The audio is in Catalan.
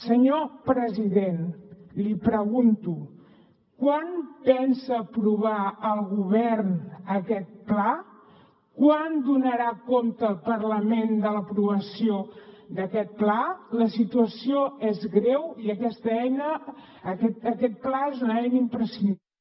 senyor president l’hi pregunto quan pensa aprovar el govern aquest pla quan donarà compte el parlament de l’aprovació d’aquest pla la situació és greu i aquesta eina aquest pla és una eina imprescindible